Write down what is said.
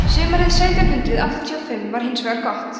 sumarið sautján hundrað áttatíu og fimm var hins vegar gott